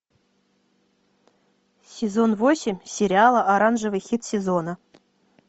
сезон восемь сериала оранжевый хит сезона